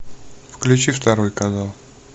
включи второй канал